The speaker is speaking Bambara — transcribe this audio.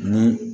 Ni